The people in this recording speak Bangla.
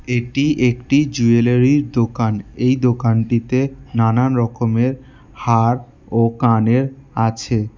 এটি একটি জুয়েলারির দোকান এই দোকানটিতে নানা রকমের হার ও কানের আছে।